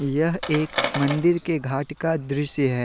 यह एक मंदिर के घाट का दृश्य है।